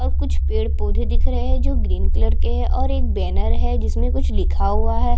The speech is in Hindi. और कुछ पेड़-पौधे दिख रहे है जो ग्रीन कलर के है और एक बैनर है जिसमे कुछ लिखा हुआ है।